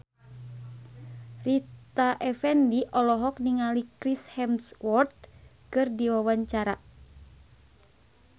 Rita Effendy olohok ningali Chris Hemsworth keur diwawancara